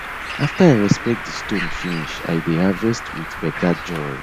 after i respect di stone finish i dey harvest with better joy